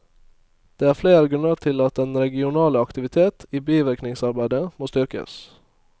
Det er flere grunner til at den regionale aktivitet i bivirkningsarbeidet må styrkes.